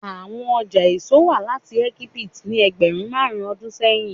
Awọn ọja eso wa lati Egipti ni ẹgbẹrun marun ọdun sẹyin